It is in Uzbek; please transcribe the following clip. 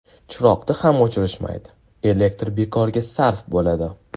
Chiroqni ham o‘chirishmaydi, elektr bekorga sarf bo‘ladi.